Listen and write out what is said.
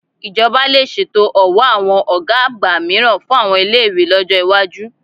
Ìjọba lè ṣètò ọ̀wọ́ àwọn ògá àgbà mìíràn fún àwọn ilé-ìwé lọ́jọ́ ìwájú